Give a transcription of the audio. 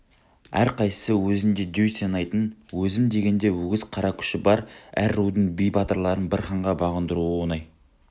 әрқайсысы өзін-өзі дөй санайтын өзім дегенде өгіз қара күші бар әр рудың би батырларын бір ханға бағындыру оңай